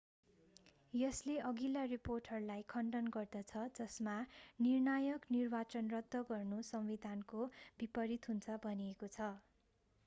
यसले अघिल्ला रिपोर्टहरूलाई खण्डन गर्दछ जसमा निर्णायक निर्वाचन रद्द गर्नु संविधानको विपरित हुन्छ भनिएको छ